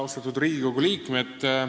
Austatud Riigikogu liikmed!